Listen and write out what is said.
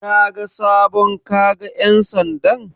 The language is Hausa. Kaga sabon kaga ƴan sandan?